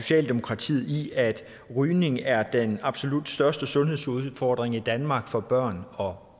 socialdemokratiet i at rygning er den absolut største sundhedsudfordring i danmark for børn og